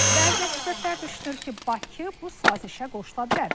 Bəzi ekspertlər düşünür ki, Bakı bu sazişə qoşula bilər.